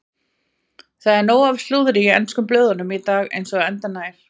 Það er nóg af slúðri í ensku blöðunum í dag eins og endranær.